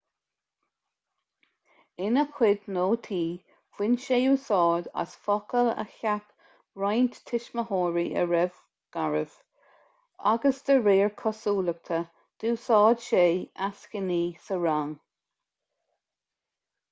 ina chuid nótaí bhain sé úsáid as focail a cheap roinnt tuismitheoirí a raibh garbh agus de réir cosúlachta d'úsáid sé eascainí sa rang